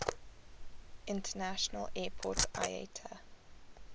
international airport iata